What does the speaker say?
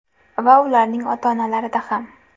Va ularning ota-onalarida ham!